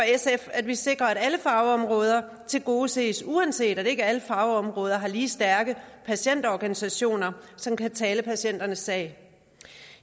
at vi sikrer at alle fagområder tilgodeses uanset at ikke alle fagområder har lige stærke patientorganisationer som kan tale patienternes sag